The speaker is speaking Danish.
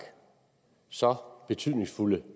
så betydningsfulde